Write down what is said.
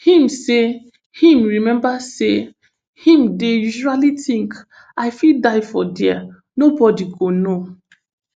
im say im remember say im dey usually tink i fit die for dia nobody go know